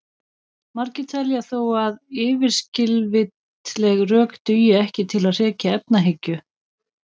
Margir telja þó að yfirskilvitleg rök dugi ekki til að hrekja efahyggju.